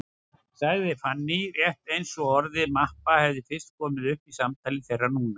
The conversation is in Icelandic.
sagði Fanný, rétt eins og orðið mappa hefði fyrst komið upp í samtali þeirra núna.